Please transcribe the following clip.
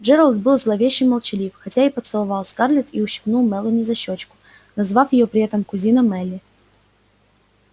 джералд был зловеще молчалив хотя и поцеловал скарлетт и ущипнул мелани за щёчку назвав её при этом кузина мелли